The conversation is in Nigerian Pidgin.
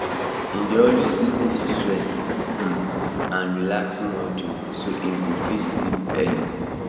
he dey always lis ten to sweet um and relaxing audio so e go fit sleep early